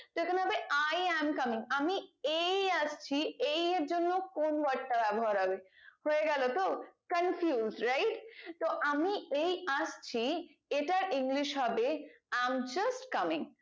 তো এখানে হবে i am coming আমি এই আসছি এই এর জন্য কোন word টা ব্যবহার হবে হয়ে গেল তো confused right তো আমি এই আসছি এটা english হবে i am just coming